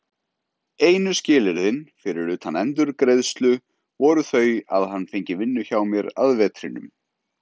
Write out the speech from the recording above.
Einu skilyrðin, fyrir utan endurgreiðslu, voru þau að hann fengi vinnu hjá mér að vetrinum.